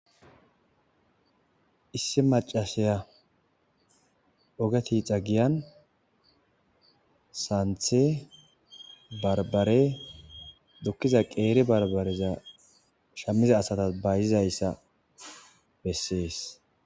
issi macasiya oge tixa giyan saanthe barbare dukkiza qeeri barbareza shammiza asatas bayzizayssa bessees